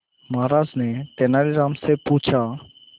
महाराज ने तेनालीराम से पूछा